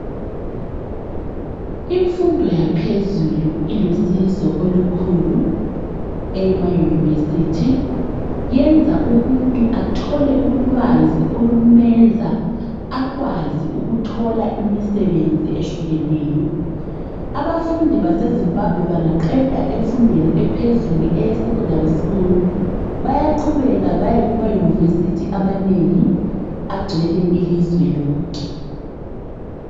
Imfundo yaphezulu ilusizo olukhulu, eyema university. Yenza umuntu athole ulwazi olumenza akwazi ukuthola imisebenzi ehlukeneyo. Abafundi baseZimbabwe bangaqeda emfundweni ephezulu, eyesecondary school. Bayaqhubeka baye ema university amanengi. Agcwele ilizwe lonke.